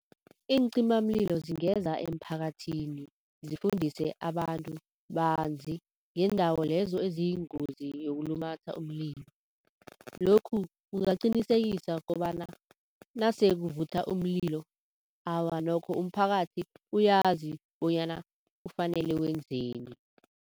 Iincimamlilo zingeza emphakathini, zifundise abantu banzi ngendawo lezo eziyingozi yokulumatha umlilo. Lokhu kungaqinisekisa kobana nasekuvutha umlilo, awa nokho umphakathi uyazi bonyana kufanele wenzeni.